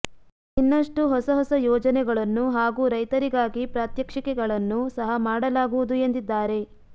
ಇನ್ನಷ್ಟು ಹೊಸಹೊಸ ಯೋಜನೆಗಳನ್ನು ಹಾಗೂ ರೈತರಿಗಾಗಿ ಪ್ರಾತ್ಯಕ್ಷಿಕೆಗಳನ್ನು ಸಹ ಮಾಡಲಾಗುವುದು ಎಂದಿದ್ದಾರೆ